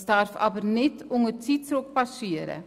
Dies darf aber nicht unter Zeitdruck geschehen.